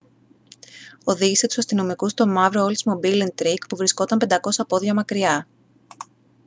οδήγησε τους αστυνομικούς στο μαύρο oldsmobile intrigue που βρισκόταν 500 πόδια μακριά